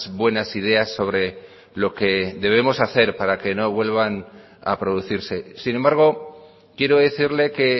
buenas ideas sobre lo que debemos hacer para que no vuelvan a producirse sin embargo quiero decirle que